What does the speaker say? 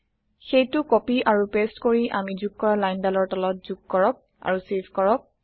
সেইটো কপি আৰু পেচ্ট কৰি আমি যোগ কৰা লাইন দালৰ তলত যোগ কৰক আৰু চেভ কৰক